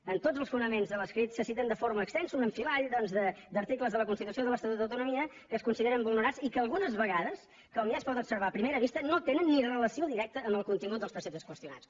en tots els fonaments de l’escrit se citen de forma extensa un enfilall doncs d’articles de la constitució i de l’estatut d’autonomia que es consideren vulnerats i que algunes vegades com ja es pot observar a primera vista no tenen relació directa amb el contingut dels preceptes qüestionats